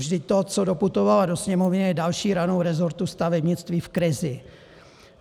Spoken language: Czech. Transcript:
Vždyť to, co doputovalo do Sněmovny, je další ranou rezortu stavebnictví v krizi.